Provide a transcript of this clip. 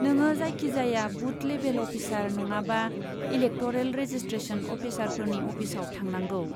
नोङो जायखिजाया बुथ लेबेल अफिसार नङाबा इलेकट'रेल रेजिस्ट्रेसन अफिसारफोरनि अफिसआव थांनांगौ।